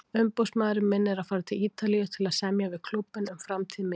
Umboðsmaðurinn minn er að fara til Ítalíu til að semja við klúbbinn um framtíð mína.